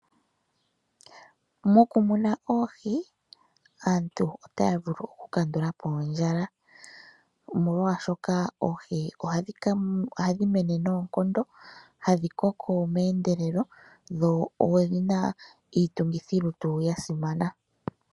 Mokumuna oohi aantu otaya vulu oku kandulapo ondjala omolwaashoka oohi ohadhi mene noonkondo hadhi koko meendelelo iitungithilutu ya simana.